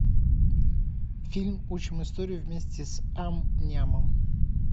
фильм учим историю вместе с ам нямом